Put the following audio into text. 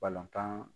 Balontan